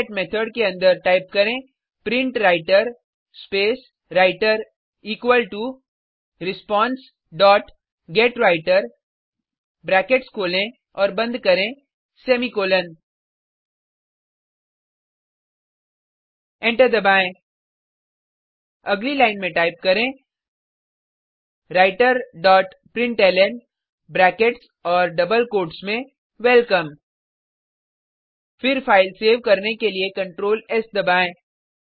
do get method के अंदर type करें print writer space writer equal to response dot get writer brackets खोलें और बंद करें सेमीकोलन एंटर दबाएं अगली लाइन में टाइप करें राइटर डॉट प्रिंटलन ब्रैकेट्स और डबल कोट्स में वेलकम फिर फाइल सेव करने के लिए Ctrl एस दबाएं